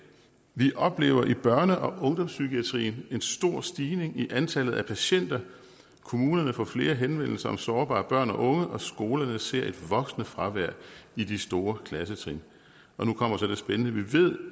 vi oplever i børne og ungdomspsykiatrien en stor stigning i antallet af patienter kommunerne får flere henvendelser om sårbare børn og unge og skolerne ser et voksende fravær i de store klassetrin men vi ved